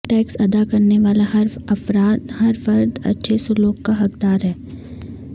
tax ادا کرنے والا ہر فرد اچھے سلوک کا حق دار ہے